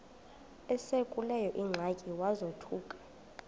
esekuleyo ingxaki wazothuka